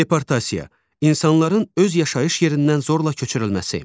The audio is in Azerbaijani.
Deportasiya, insanların öz yaşayış yerindən zorla köçürülməsi.